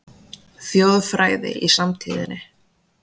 Þjóðfræði í samtíðinni